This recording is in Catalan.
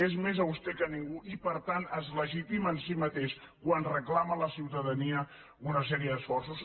és més auster que ningú i per tant es legitima en si mateix quan reclama a la ciutadania una sèrie d’esforços